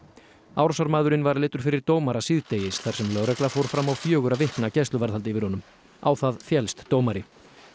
árásarmaðurinn var leiddur fyrir dómara síðdegis þar sem lögregla fór fram á fjögurra vikna gæsluvarðhald yfir honum á það féllst dómari